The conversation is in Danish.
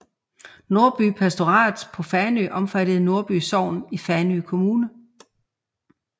Nordby Pastorat på Fanø omfattede Nordby Sogn i Fanø Kommune